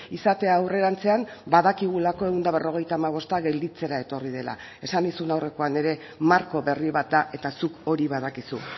izatea aurrerantzean badakigulako ehun eta berrogeita hamabosta gelditzera etorri dela esan nizun aurrekoan ere marko berri bat da eta zuk hori badakizu